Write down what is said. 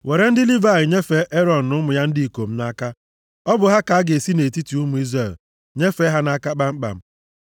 Were ndị Livayị nyefee Erọn na ụmụ ya ndị ikom nʼaka. Ọ bụ ha ka a ga-esi nʼetiti ụmụ Izrel nyefee ha nʼaka kpamkpam.